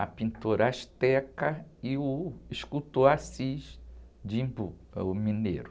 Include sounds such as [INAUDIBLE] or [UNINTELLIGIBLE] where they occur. a pintora [UNINTELLIGIBLE] e o escultor Assis de Embu, ãh, o mineiro.